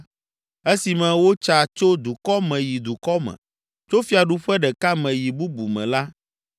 Esime wotsa tso dukɔ me yi dukɔ me Tso fiaɖuƒe ɖeka me yi bubu me la,